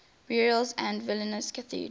burials at vilnius cathedral